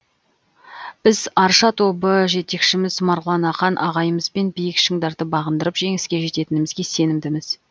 біз арша тобы жетекшіміз марғұлан ақан ағайымызбен биік шыңдарды бағындырып жеңіске жететінімізге сенімдіміз